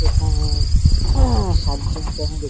এখানে সাত জনকে আমি দেখ --